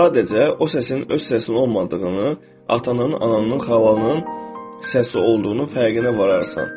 Sadəcə o səsin öz səsin olmadığını, atanın, ananın, xalanın səsi olduğunu fərqinə vararsan.